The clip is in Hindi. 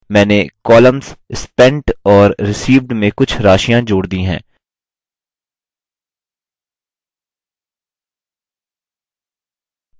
मैंने columns spent और received में कुछ राशियाँ जोड़ दी हैं